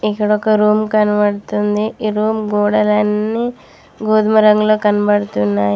ఇక్కడొక రూమ్ కనపడుతుంది ఈ రూమ్ గోడలన్నీ గోదుమ రంగులో కనపడుతున్నాయి.